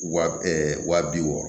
Wa wa bi wɔɔrɔ